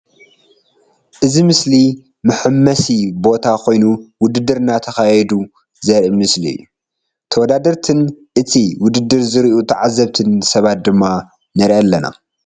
እዚ ምስሊ መሐመሲ ቦታ ኮይኑ ውድድር እናተካየዱ ዘርኢ ምስሊ እዩ ተውዳድርትን ንቲ ዉድድር ዝሪኡ ትዓዝብትን ስባት ድማ ንርኢ ኣለና ።